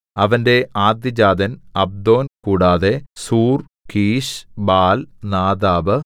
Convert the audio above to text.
അവന്റെ ആദ്യജാതൻ അബ്ദോൻ കൂടാതെ സൂർ കീശ് ബാൽ നാദാബ്